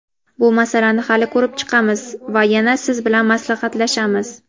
Bu masalani hali ko‘rib chiqamiz va yana siz bilan maslahatlashamiz.